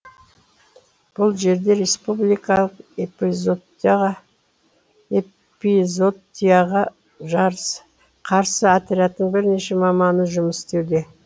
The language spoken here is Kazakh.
бұл жерде республикалық эпизотияға қарсы отрядтың бірнеше маманы жұмыс істеуде